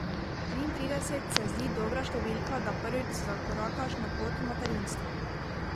Policisti preiskavo nadaljujejo, saj storilca še niso našli.